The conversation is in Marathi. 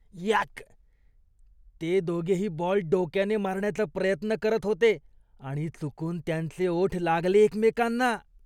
यक! ते दोघेही बॉल डोक्याने मारण्याचा प्रयत्न करत होते आणि चुकून त्यांचे ओठ लागले एकमेकांना.